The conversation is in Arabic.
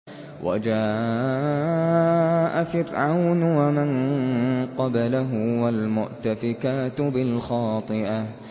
وَجَاءَ فِرْعَوْنُ وَمَن قَبْلَهُ وَالْمُؤْتَفِكَاتُ بِالْخَاطِئَةِ